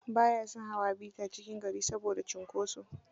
Ba ya son hawa bi ta cikin gari saboda cunkosa